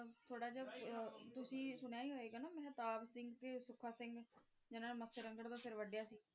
ਥੋੜ੍ਹਾ ਜਿਹਾ ਤੁਸੀਂ ਸੁਣਿਆ ਈ ਹੋਏਗਾ ਨਾ ਮਹਿਤਾਬ ਸਿੰਘ ਤੇ ਸੁੱਖਾ ਸਿੰਘ ਜਿਨ੍ਹਾਂ ਨੇ ਮੱਸੇ ਰੰਗੜ ਦਾ ਸਿਰ ਵਢਿਆ ਸੀ।